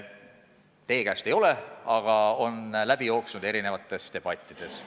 Mitte teie käest, aga see on läbi jooksnud erinevates debattides.